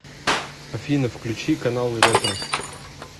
афина включи каналы ретро